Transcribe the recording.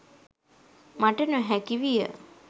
මට නොහැකි විය.